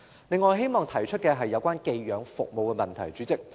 另外，我希望提一提寄養服務的問題。